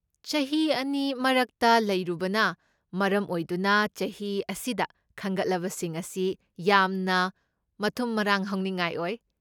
ꯆꯍꯤ ꯑꯅꯤ ꯃꯔꯛꯇ ꯂꯩꯔꯨꯕꯅ ꯃꯔꯝ ꯑꯣꯏꯗꯨꯅ ꯆꯍꯤ ꯑꯁꯤꯗ ꯈꯟꯒꯠꯂꯕꯁꯤꯡ ꯑꯁꯤ ꯌꯥꯝꯅ ꯃꯊꯨꯝ ꯃꯔꯥꯡ ꯍꯧꯅꯤꯡꯉꯥꯏ ꯑꯣꯏ꯫